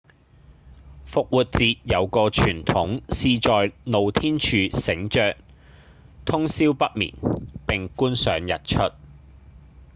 復活節有個傳統是在露天處醒著通霄不眠並觀賞日出